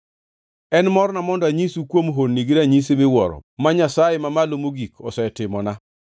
En morna mondo anyisu kuom honni gi ranyisi miwuoro ma Nyasaye Mamalo Mogik osetimona.